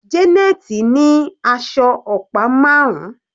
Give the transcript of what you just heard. Janet ní aṣọ ọ̀pá marun.